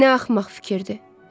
Nə axmaq fikirdir!